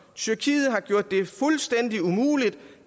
tyrkiet har gjort det fuldstændig umuligt